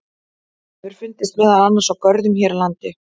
Hann hefur fundist meðal annars í görðum hér á landi.